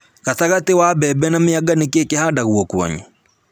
Gatagatĩ ka mbembe na mĩanga, nĩ kĩ kĩhandagwo kwanyu?